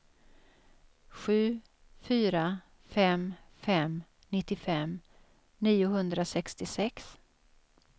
sju fyra fem fem nittiofem niohundrasextiosex